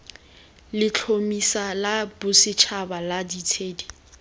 letlhomeso la bosetšhaba la ditshedi